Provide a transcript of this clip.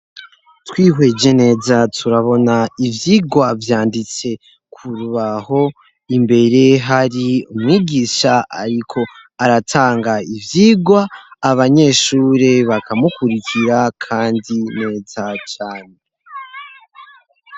Twihweje neza turabona ivyigwa vyanditse kurubaho, imbere hari umwigisha ariko aratanga ivyigwa abanyeshuri bakamukurikira kandi neza cane.